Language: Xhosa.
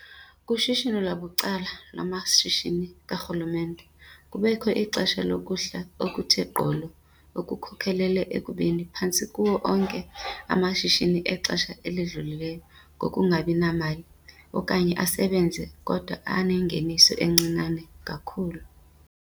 kushishino lwabucala lwamashishini karhulumente kubekho ixesha lokuhla okuthe gqolo okukhokelele ekubeni phantse kuwo onke amashishini exesha elidlulileyo ngoku angabinamali okanye asebenze kodwa anengeniso encinane kakhulu.